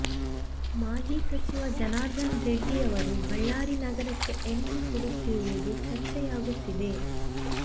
ಮಾಜಿ ಸಚಿವ ಜನಾರ್ದನ ರೆಡ್ಡಿ ಅವರು ಬಳ್ಳಾರಿ ನಗರಕ್ಕೆ ಎಂಟ್ರಿ ಕೊಡುತ್ತಿರುವುದು ಚರ್ಚೆಯಾಗುತ್ತಿದೆ